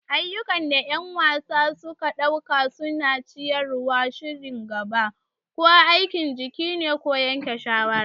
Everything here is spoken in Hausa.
Ayyukan da ƴan wasa suka ɗauka suna ciyar da shirin gaba. Ko aikin jiki ne ko yanke shawara.